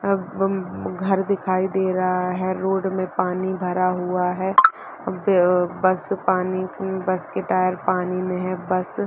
अम्म घर दिखाई दे रहा है रोड में पानी भरा हुआ है बस पानी बस की टायर पानी में है बस --